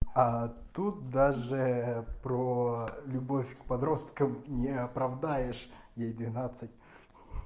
а тут даже про любовь к подросткам не оправдаешь ей двенадцать ха-ха